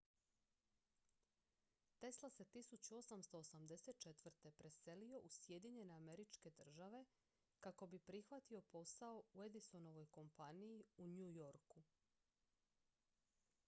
tesla se 1884. preselio u sjedinjene američke države kako bi prihvatio posao u edisonovoj kompaniji u new yorku